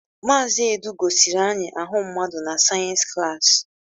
Mazị Edu gosiri anyị ahụ mmadụ na sayensi klaasi.